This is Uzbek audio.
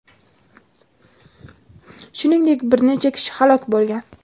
Shuningdek, bir necha kishi halok bo‘lgan.